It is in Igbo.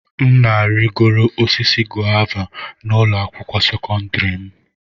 M na-arịgoro osisi guava na ụlọ akwụkwọ sekọndrị m.